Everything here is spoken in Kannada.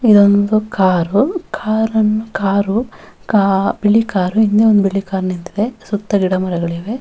ಇದೊಂದು ಕಾರು ಕಾರ್ ನ್ನು ಕಾರ್ ಕಾ ಬಿಳಿ ಕಾರು ಇನ್ನೊಂದು ಬಿಳಿ ಕಾರ್ ನಿಂತಿದೆ ಸುತ್ತ ಗಿಡಮರಗಳಿವೆ.